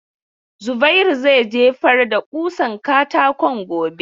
Zubairu zai jefar da ƙusan katakon gobe.